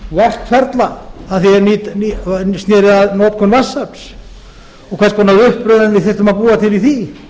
verkferla sem snúa að notkun vatnsafls og hvers konar uppröðun við þyrftum að búa til í því